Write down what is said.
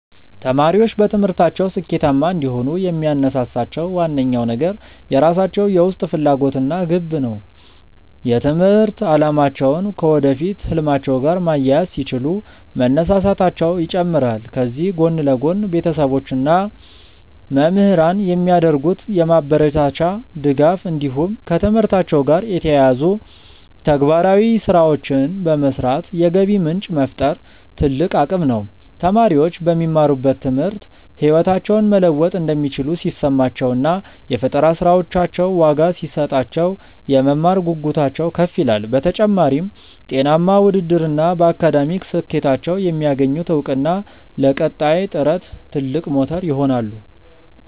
ተማሪዎች በትምህርታቸው ስኬታማ እንዲሆኑ የሚያነሳሳቸው ዋነኛው ነገር የራሳቸው የውስጥ ፍላጎት እና ግብ ነው። የትምህርት አላማቸውን ከወደፊት ህልማቸው ጋር ማያያዝ ሲችሉ መነሳሳታቸው ይጨምራል። ከዚህ ጎን ለጎን፣ ቤተሰቦች እና መምህራን የሚያደርጉት የማበረታቻ ድጋፍ እንዲሁም ከትምህርታቸው ጋር የተያያዙ ተግባራዊ ስራዎችን በመስራት የገቢ ምንጭ መፍጠር ትልቅ አቅም ነው። ተማሪዎች በሚማሩት ትምህርት ህይወታቸውን መለወጥ እንደሚችሉ ሲሰማቸው እና የፈጠራ ስራዎቻቸው ዋጋ ሲሰጣቸው፣ የመማር ጉጉታቸው ከፍ ይላል። በተጨማሪም፣ ጤናማ ውድድር እና በአካዳሚክ ስኬታቸው የሚያገኙት እውቅና ለቀጣይ ጥረት ትልቅ ሞተር ይሆናሉ።